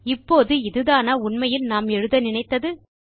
இப்போது இதுதானா உண்மையில் நாம் எழுத நினைத்தது